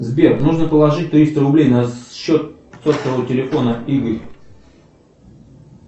сбер нужно положить триста рублей на счет сотового телефона игорь